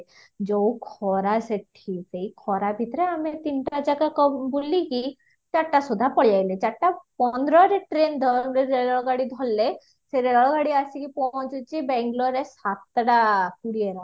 ଯୋଉ ଖରା ସେଠି ସେଇ ଖରା ଭିତରେ ଆମେ ତିନିଟା ଜାଗା ବୁଲିକି ଚରିଟା ସୁଧା ପାଳିଆଇଲେ ଚାରିଟା ପନ୍ଦରରେ train ରେଳ ଗାଡି ଧରିଲେ ସେ ରେଳ ଗାଡି ଆସିକି ପହଞ୍ଚୁଚି bangloreରେ ସାତଟା କୋଡିଏରେ